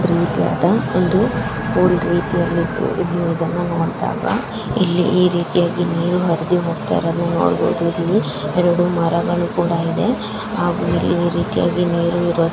ರೀತಿಯಾದ ಒಂದು ಓಲ್ಡ್ ರೀತಿಯಲ್ಲಿಇದ್ದು ಇಲ್ಲಿ. ಇದನ್ನು ನೋಡಿದಾಗ ಇಲ್ಲಿ ಈ ರೀತಿಯಾಗಿ ನೀರು ಹರಿದು ಹೋಗುತ್ತಿರುವುದನ್ನು ನೋಡಬಹುದು ಇಲ್ಲಿ ಎರಡು ಮರಗಳು ಇದ್ದಾವೆ ಹಾಗೂ ಈ ರೀತಿಯಾಗಿ ನೀರು ಇರುವುದನ್ನು--